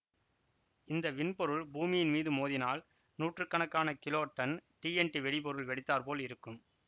இந்த விண்பொருள் பூமியின் மீது மோதினால் நூற்று கணக்கான கிலோடன் டிஎன்டி வெடிபொருள் வெடித்தாற் போல இருக்கும்